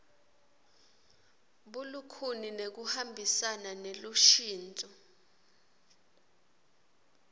bulikhuni nekuhambisana nelushintso